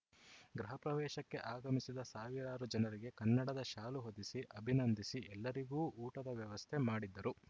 ಗೃಹ ಪ್ರವೇಶಕ್ಕೆ ಆಗಮಿಸಿದ ಸಾವಿರಾರು ಜನರಿಗೆ ಕನ್ನಡದ ಶಾಲು ಹೊದಿಸಿ ಅಭಿನಂದಿಸಿ ಎಲ್ಲರಿಗೂ ಊಟದ ವ್ಯವಸ್ಥೆ ಮಾಡಿದ್ದರು